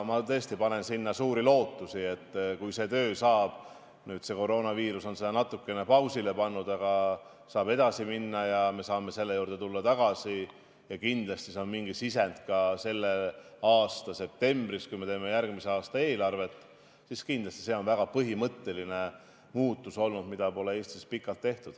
Ma tõesti panen sinna suuri lootusi, nii et kui selle tööga saab edasi minna – nüüd on koroonaviirus selle kõik natukene pausile pannud – ja me saame tulla selle juurde tagasi, kindlasti on selleks mingi sisend ka selle aasta septembris, kui me teeme järgmise aasta eelarvet, siis kindlasti on see väga põhimõtteline muutus, mida pole Eestis pikalt tehtud.